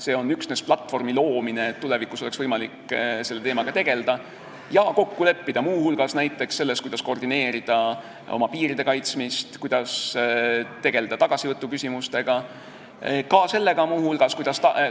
See on üksnes platvormi loomine, et tulevikus oleks võimalik selle teemaga tegelda ja kokku leppida muu hulgas näiteks selles, kuidas koordineerida oma piiride kaitsmist, kuidas tegelda tagasivõtuküsimustega, muu hulgas sellega,